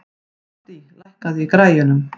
Addý, lækkaðu í græjunum.